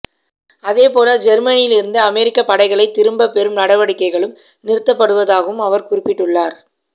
அதேபோல ஜெர்மனியிலிருந்து அமெரிக்கப் படைகளைத் திரும்பப் பெறும் நடவடிக்கைகளும் நிறுத்தப்படுவதாகவும் அவர் குறிப்பிட்டார்